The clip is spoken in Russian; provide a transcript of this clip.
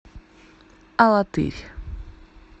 алатырь